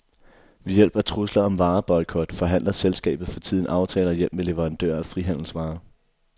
Ved hjælp af trusler om vareboykot forhandler selskabet for tiden aftaler hjem med leverandører af frihandelsvarer.